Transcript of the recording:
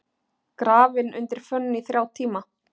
Grafinn undir fönn í þrjá tíma